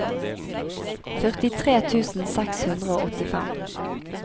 førtitre tusen seks hundre og åttifem